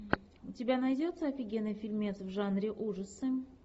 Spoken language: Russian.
у тебя найдется офигенный фильмец в жанре ужасы